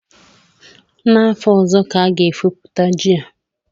N'afọ ọzọ ka a ga-efopụta ji a